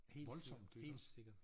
Voldsomt iggå